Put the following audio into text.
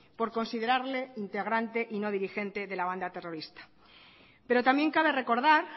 por considerarle integrante y no dirigente de la banda terrorista pero también cabe recordar